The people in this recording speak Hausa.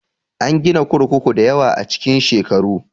An gina kurkuku dayawa a cikin shekaru